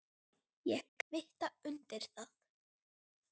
Ég kvitta undir það.